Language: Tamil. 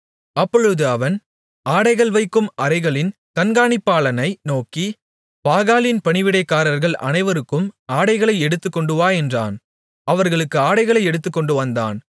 அப்பொழுது அவன் ஆடைகள் வைக்கும் அறைகளின் கண்காணிப்பாளனை நோக்கி பாகாலின் பணிவிடைக்காரர்கள் அனைவருக்கும் ஆடைகளை எடுத்துக்கொண்டுவா என்றான் அவர்களுக்கு ஆடைகளை எடுத்துக்கொண்டுவந்தான்